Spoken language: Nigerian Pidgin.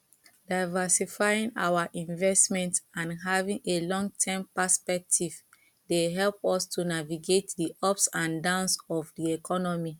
diversifying our investments and having a longterm perspective dey help us to navigate di ups and downs of di economy